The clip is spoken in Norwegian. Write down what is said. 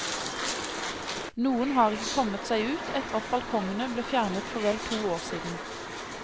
Noen har ikke kommet seg ut etter at balkongene ble fjernet for vel to år siden.